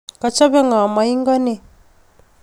Kochope ng'o moingo nin?